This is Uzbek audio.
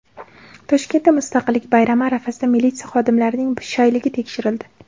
Toshkentda Mustaqillik bayrami arafasida militsiya xodimlarining shayligi tekshirildi.